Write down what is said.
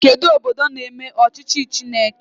Kedụ obodo na-eme ọchịchị Chineke?